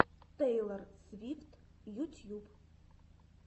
тейлор свифт ютьюб